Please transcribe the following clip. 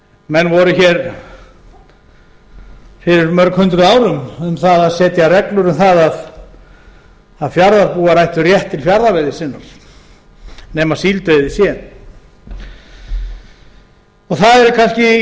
menn voru hér fyrir mörg hundruð árum um að setja reglur um að fjarðarbúar ættu rétt til fjarðarveiði sinni nema síldveiði sé það